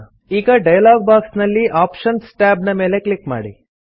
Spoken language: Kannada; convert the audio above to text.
ಈಗ ಡಲಯಾಗ್ ಬಾಕ್ಸ್ ನಲ್ಲಿ ಆಪ್ಷನ್ಸ್ ಟ್ಯಾಬ್ ನ ಮೇಲೆ ಕ್ಲಿಕ್ ಮಾಡಿ